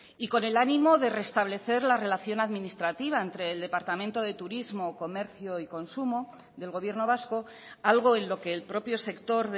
y con el ánimo de restablecer la relación administrativa entre el departamento de turismo comercio y consumo del gobierno vasco algo en lo que el propio sector